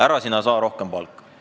Ära sina saa rohkem palka!